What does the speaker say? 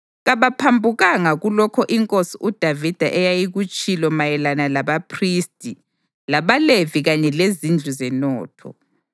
Kabaphambukanga kulokho inkosi uDavida eyayikutshilo mayelana labaphristi labaLevi kanye lezindlu zenotho.